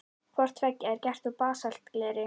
Hvort tveggja er gert úr basaltgleri.